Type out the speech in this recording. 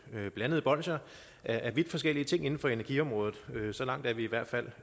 blandede bolsjer af vidt forskellige ting inden for energiområdet så langt er vi i hvert fald